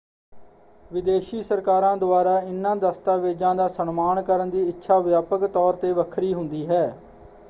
ਵਿਦੇਸ਼ੀ ਸਰਕਾਰਾਂ ਦੁਆਰਾ ਇਨ੍ਹਾਂ ਦਸਤਾਵੇਜ਼ਾਂ ਦਾ ਸਨਮਾਨ ਕਰਨ ਦੀ ਇੱਛਾ ਵਿਆਪਕ ਤੌਰ ‘ਤੇ ਵੱਖਰੀ ਹੁੰਦੀ ਹੈ।